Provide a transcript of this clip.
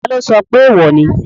Taló sọ pé èèwò ni?